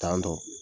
Tan tɔ